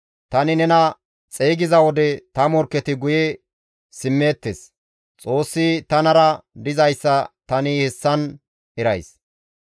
Tani nena xeygiza wode ta morkketi guye simmeettes; Xoossi tanara dizayssa tani hessan erays.